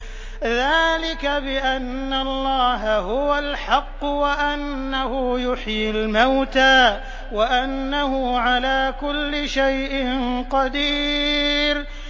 ذَٰلِكَ بِأَنَّ اللَّهَ هُوَ الْحَقُّ وَأَنَّهُ يُحْيِي الْمَوْتَىٰ وَأَنَّهُ عَلَىٰ كُلِّ شَيْءٍ قَدِيرٌ